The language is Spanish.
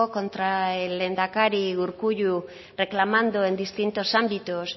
contra el lehendakari urkullu reclamando en distintos ámbitos